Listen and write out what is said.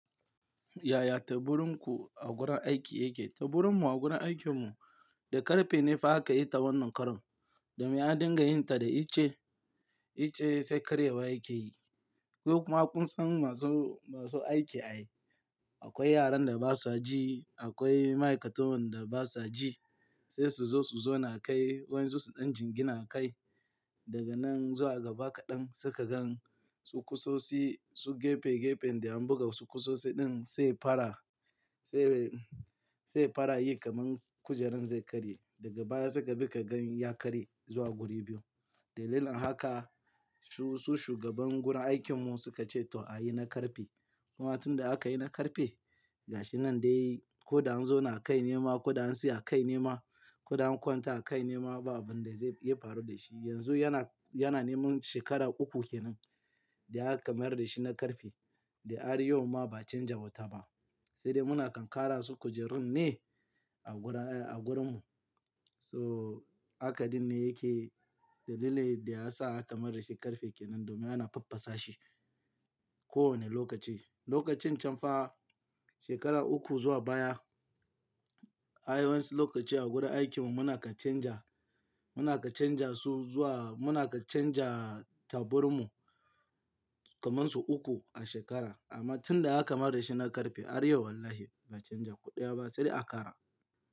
Yaya teburin ku a gurin aiki yake? Teburin mu a gurin aikin mu da ƙarfe ne fa aka yi ta wannan karon. Domin an dinga yin ta da iche, --iche sai karyewa yake yi. Duk makunsan masu, masu aiki ai. Akwai yaran da basu haji, akwai ma'aikatuwan da basu haji. Sai su zo su zona a kai, wai su, injin gina a kai. Daga nan zuwa gaba kaɗan suka gan su kusosi, su gefe-- gefen da an buga su kusosi ɗin sai fara, --sai, sai fara yi kaman kujeran zai karye. Daga baya suka bi ka gan ya karye zuwa guri biyu. Dalilin haka su, --su shugaban gurin aikin mu suka ce to a yi na ƙarfe. Kuma tun da aka yi na ƙarfe, gashi nan dai ko da anzona kai nema, ko da an siya kai nema, ko da an kwanta kai nema babu abin da zai--faru da shi. Yanzu yana, --yana neman shekara uku kenan da aka mayar da shi na ƙarfe. Da ar yauma ba a canja wata ba. Sai dai muna kankara su kujerun ne a gura, a gurinmu. So hakan dinne yake dalilin da yasa aka mayar shi ƙarfe kenan domin ana faffasa shi kowane lokaci. Lokacin can fa shekara uku zuwa baya, ayi wani lokaci a gurin aikin mu muna ka canja, ---muna ka--canja su zuwa muna ka canja taburin mu kaman su uku a shekara. Amma tun da aka mayar da shi na ƙarfe, haryau wallahi ba a canja kuɗiya ba sai a ƙara.